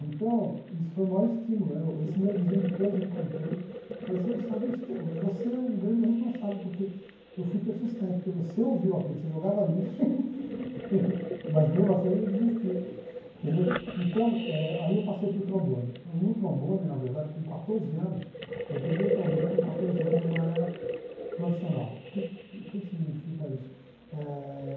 então, isso foi o maior estímulo né esse meu vizinho depois eu encontrei falei, você não sabe, você é um grande responsável, porque eu fui persistente, porque você ouviu aquilo, você jogava lixo mas mesmo assim eu me desisti então eh, aí eu passei para o trombone no trombone, na verdade, com quatorze anos eu peguei o trombone com quatorze anos eu já era profissional o que que o que significa isso? Eh